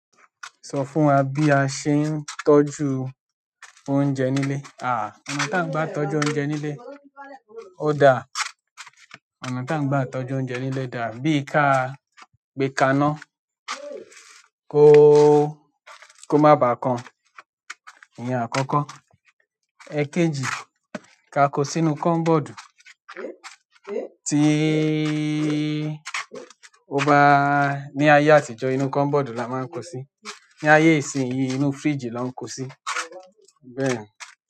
Sọ fún wa bí a ṣe ń tọ́jú oúnjẹ nílé. Àá, ọ̀nà tà ń gbá tọ́jú oúnjẹ nílé ó dá, ọ̀nà tà ń gbá tọ́jú oúnjẹ nílé dá, bí i ká gbé kaná ko kó má ba kan, ìyẹn àkọ́kọ́. Ẹ̀ẹ̀kejì, ká a kó sínú cupboard tíí, ó bá ní ayé àtijọ́ inú cupboard la máa ń kó sí, ní ayé ìsinyìí inú fridge la ń kó sí. Bẹ́ẹ̀ni.